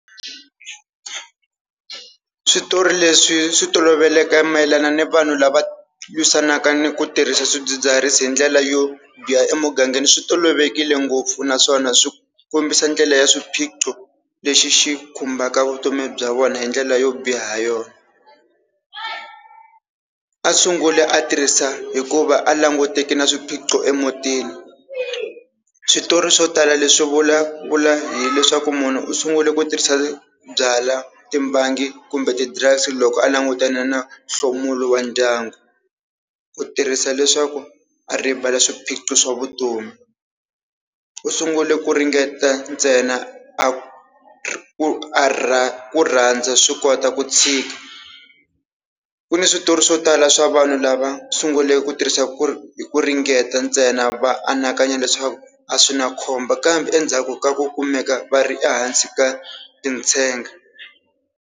Switori leswi swi toloveleke mayelana ni vanhu lava lwisanaka ni ku tirhisa swidzidziharisi hi ndlela yo biha emugangeni swi tolovelekile ngopfu, naswona swi kombisa ndlela ya swiphiqo lexi xi khumbaka vutomi bya vona hi ndlela yo biha yona. A sunguli a tirhisa hikuva a languteke na swiphiqo emutini. Switori swo tala leswi vulavula hileswaku munhu u sungule ku tirhisa byala, timbangi kumbe ti-drugs loko a langutane na nhlomulo wa ndyangu. Ku tirhisa leswaku a rivala swiphiqo swa vutomi. U sungule ku ringeta ntsena a ku a rhandza ku rhandza swi kota ku tshika. Ku ni switori swo tala swa vanhu lava sungule ku tirhisa ku hi ku ringeta ntsena va anakanya leswaku a swi na khombo kambe endzhaku ka ku kumeka va ri ehansi ka tintshenge.